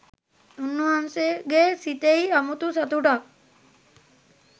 උන්වහන්සේගේ සිතෙහි අමුතු සතුටක්